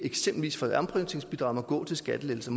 må gå til skattelettelser